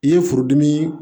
I ye furudimi